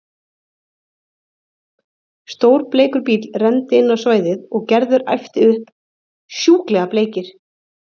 Stór bleikur bíll renndi inn á svæðið og Gerður æpti upp: Sjúklega bleikir!